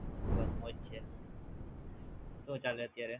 બસ મોજ છે શું ચાલે અત્યારે